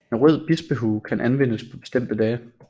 En rød bispehue kan anvendes på bestemte dage